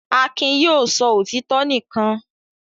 Akin yóò sọ òtítọ́ nìkan.